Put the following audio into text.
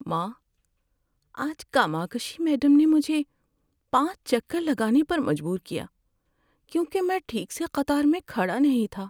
ماں، آج کاماکشی میڈم نے مجھے پانچ چکر لگانے پر مجبور کیا کیونکہ میں ٹھیک سے قطار میں کھڑا نہیں تھا۔